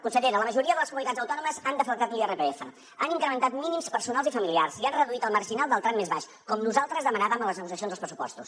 consellera la majoria de les comunitats autònomes han deflactat l’irpf han incrementat mínims personals i familiars i han reduït el marginal del tram més baix com nosaltres demanàvem a les negociacions dels pressupostos